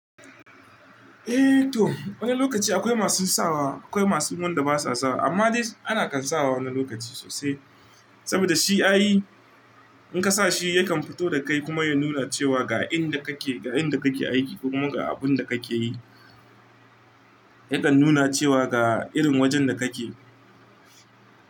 Eh toh wani lokaci akwai masu sawa akwai masu wanda basa sawa amma dai ana kan sawa wani lokaci sosai saboda shi ai in ka sa shi yakan fito da kai kuma ya nuna cewa ga inda kake ga inda kake aiki kuma ga abun da kake yi yakan nuna cewa ga irin wajen da kake.